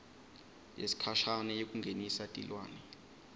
yesikhashane yekungenisa tilwane